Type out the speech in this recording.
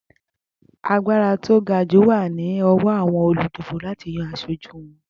Agbára tó gajù wà ni ọwọ àwon olùdìbò láti yan asojú won.